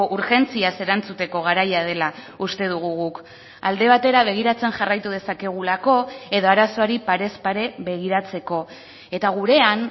urgentziaz erantzuteko garaia dela uste dugu guk alde batera begiratzen jarraitu dezakegulako edo arazoari parez pare begiratzeko eta gurean